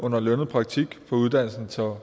under lønnet praktik på uddannelsen til